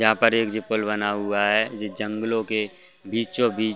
यहाँ पर एक जीपुल बना हुआ है जो जंगलों के बीचों- बीच --